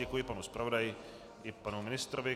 Děkuji panu zpravodaji i panu ministrovi.